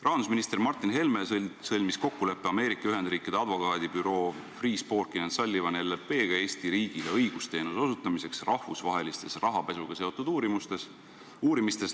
Rahandusminister Martin Helme sõlmis kokkuleppe Ameerika Ühendriikide advokaadibürooga Freeh, Sporkin & Sullivan Eesti riigile õigusteenuse osutamiseks rahvusvahelistes rahapesuga seotud uuringutes.